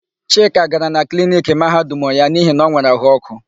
Chika gara na kliniki Mahadum ya n'ihi na o nwere áhụ̀ ọ́kụ́.